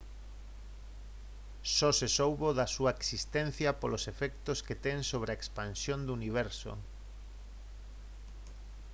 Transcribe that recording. só se soubo da súa existencia polos efectos que ten sobre a expansión do universo